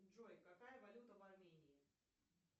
джой какая валюта в армении